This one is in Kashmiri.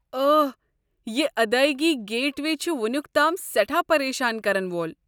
اوہ، یہِ ادٲیگی گیٹ وے چھِ وُنیُک تام سیٹھاہ پریشان كرن وول۔